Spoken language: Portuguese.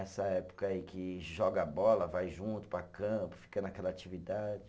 Essa época aí que joga bola, vai junto para campo, fica naquela atividade.